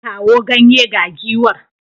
Kawo ganye ga giwar.